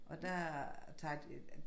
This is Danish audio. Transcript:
Og der tager de øh